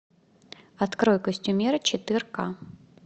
открой костюмер четыре к